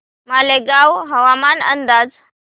मालेगाव हवामान अंदाज